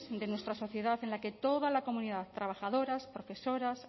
de nuestra sociedad en la que toda la comunidad trabajadoras profesoras